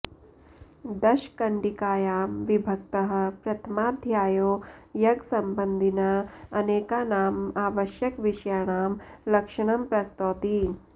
दशकण्डिकायां विभक्तः प्रथमाध्यायो यज्ञसम्बन्धिनः अनेकानाम् आवश्यकविषयाणां लक्षणं प्रस्तौति